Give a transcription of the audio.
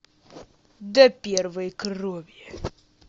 до первой крови